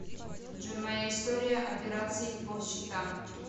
джой моя история операций по счетам